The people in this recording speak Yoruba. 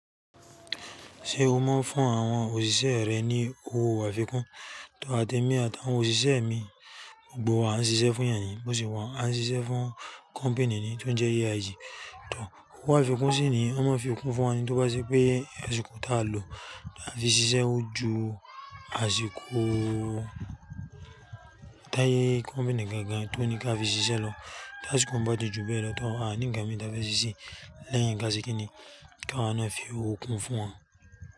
Ṣé o máa ń fún àwọn òṣìṣẹ́ rẹ ní owó àfikún? Tòr, àtẹ́ mí àti àwọn òṣìṣẹ́ mi, gbogbo wa a ń ṣiṣẹ́ fún èèyàn ni, bó ṣe wà ń, a n ṣiṣẹ́ fún company ni tó ń jẹ́ IAC, tòr, ówo àfikún sì ni wọn máa ń fi kún fún wa ni, tó wá ṣe pé àsìkò tá a lò áti ṣiṣẹ́ ó ju àsìkò tá a yé company gangan tó ní ká fi ṣiṣẹ́ lọ, tá àsìkò bá ti jù bẹ́ẹ̀ lọ, tòr a ní nnkàn mìí tá fẹ́ ṣiṣẹ́ lẹ́yìn ká ṣe kíni? Kí a wá náà fi okun fún wọn.